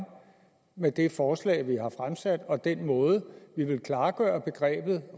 med det forslag vi har fremsat og den måde vi vil klargøre begrebet